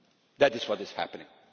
That is what is happening.